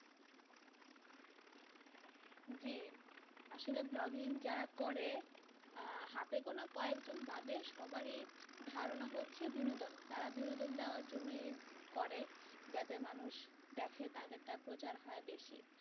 জি আসলে vlogging যারা করে আহ হাতে গোনা কয়েকজন বাদে সবারই ধারণা হচ্ছে বিনোদন তারা বিনোদন দেওয়ার জন্য এই করে যাতে মানুষ দেখে তাদেরটা প্রচার হয় বেশি